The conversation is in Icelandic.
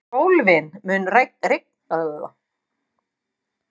Sólvin, mun rigna í dag?